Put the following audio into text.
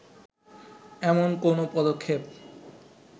এমন কোনো পদক্ষেপ